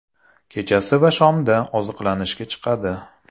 Kechasi va shomda oziqlanishga chiqadi.